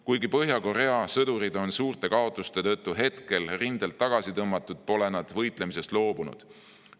Kuigi Põhja-Korea sõdurid on suurte kaotuste tõttu hetkel rindelt tagasi tõmmatud, pole nad võitlemisest loobunud.